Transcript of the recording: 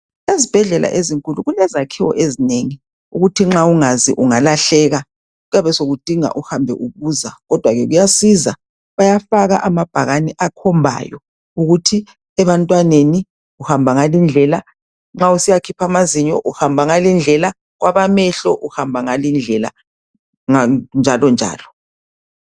Ezibhedlela ezinkulu kulezakhiwo ezinengi ukuthi nxa ungazi ungalahleka kuyabe sokudinga uhambe ubuza kodwa ke kuyasiza bayafaka amabhakani akhombayo ukuthi ebantwaneni uhamba ngalindlela nxa usiyakhipha amazinyo uhamba ngalindlela kwabamehlo uhamba ngalindlela njalonjalo